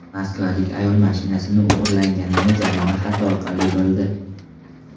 Moskvalik ayol mashinasi o‘g‘irlanganini jarima xati orqali bildi.